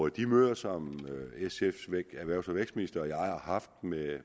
at de møder som sfs erhvervs og vækstminister og jeg har haft med